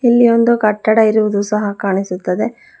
ಇಲ್ಲಿ ಒಂದು ಕಟ್ಟಡ ಇರುವುದು ಸಹ ಕಾಣಿಸುತ್ತದೆ.